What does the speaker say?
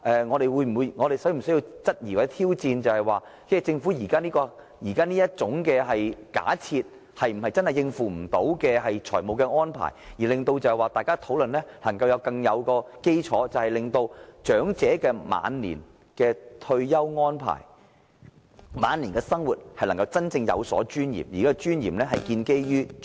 我們應否質疑或挑戰政府這個假設，是否真的是無法應付的財務安排，為大家的討論奠定良好基礎，使長者能夠作出更好的退休安排，以及真正有尊嚴地過晚年生活。